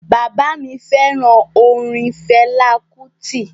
Baba mi feran orin Fela Kuti.